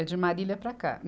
É de Marília para cá.